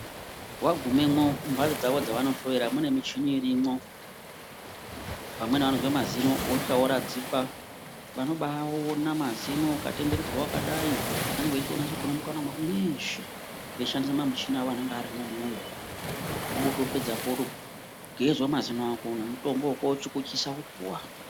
Wagumemwo mumhatso dzavo dzevanohloyera mune michini irimwo , vamweni vanozwa mazino wosvika woradzikwa. Vanobaona mazino vakatenderedza vakadai vanenge veinasa kuona mukanwa mwako mweshe veishandisa mamuchini avo anenge arimwo mwona umwomwo, votopedzapo vogezwa mazino ako nemurombo wekochukuchisapo wopuwa.